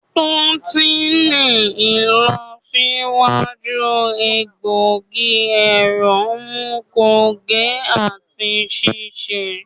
To ti ni ilọsiwaju egbogi ẹrọ mu konge ati ṣiṣe.